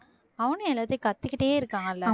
அவனும் எல்லாத்தையும் கத்திக்கிட்டே இருக்கான் இல்லை?